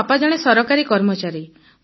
ମୋ ବାପା ଜଣେ ସରକାରୀ କର୍ମଚାରୀ